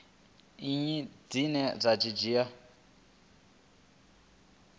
nnyi dzine vha dzi wana